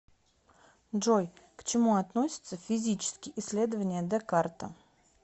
джой к чему относятся физические исследования декарта